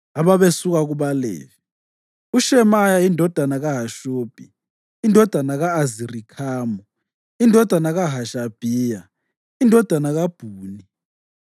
Ababesuka kubaLevi: uShemaya indodana kaHashubhi, indodana ka-Azirikhamu, indodana kaHashabhiya, indodana kaBhuni;